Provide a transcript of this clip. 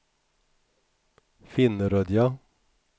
Finnerödja